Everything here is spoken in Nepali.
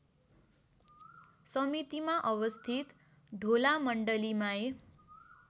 समितिमा अवस्थित ढोलामण्डलीमाई